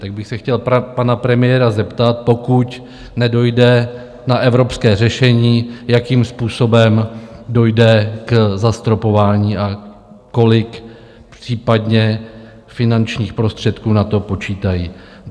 Tak bych se chtěl pana premiéra zeptat: pokud nedojde na evropské řešení, jakým způsobem dojde k zastropování a kolik případně finančních prostředků na to počítají?